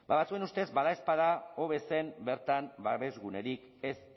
ba batzuen ustez badaezpada hobe zen bertan babes gunerik ez